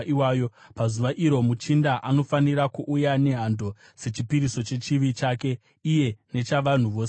Pazuva iro, muchinda anofanira kuuya nehando sechipiriso chechivi chake iye nechavanhu vose venyika.